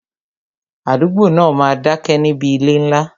Àdúgbò náà máa dá ké níbi ilé ńlá